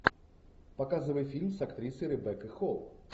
показывай фильм с актрисой ребеккой холл